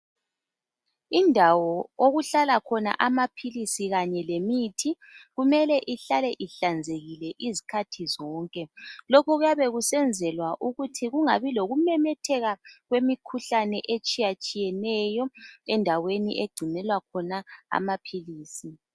Indawo okuhlala khona amaphilisi kanye lemithi kumele ihlale ihlanzekile izikhathi zonke. Lokhu kuyabe kusenzelwa ukuthi kungabi lokumemetheka kwemikhuhlane etshiyatshiyeneyo endaweni egcinelwa khona amaphilisi.